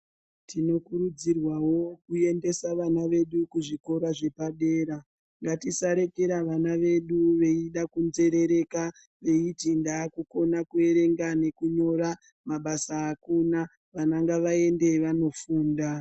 Tinokurudzirwawo kuendesa vana vedu kuzvikora zvepadera. Ngatisarekera vana vedu veida kunzerereka veiti ndakukona kuerenga nekunyora, mabasa akuna, vana ngavaende vandofunda.